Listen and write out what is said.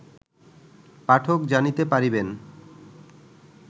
পাঠক জানিতে পারিবেন